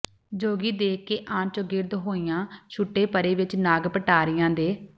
ਜੋਗੀ ਦੇਖ ਕੇ ਆਣ ਚੌਗਿਰਦ ਹੋਈਆਂ ਛੁੱਟੇ ਪਰ੍ਹੇ ਵਿੱਚ ਨਾਗ ਪਟਾਰੀਆਂ ਦੇ